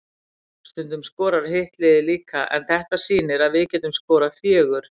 Stundum skoraði hitt liðið líka, en þetta sýnir að við getum skorað fjögur.